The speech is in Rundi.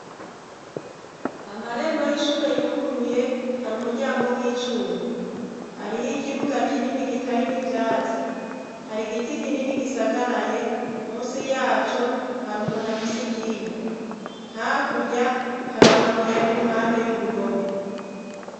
Amarembo y'ishure yuguruye hari umuryango w'icuma, hariho ikibuga kinini kitarimwo ivyatsi, hari igiti kinini gisagaraye musi yaco hari umuntu afise ikinga, hakurya hari amabuye ari iruhande y'uruhome.